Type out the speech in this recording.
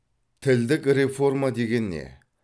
тілдік реформа деген не